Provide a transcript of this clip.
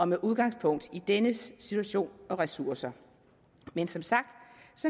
med udgangspunkt i dennes situation og ressourcer men som sagt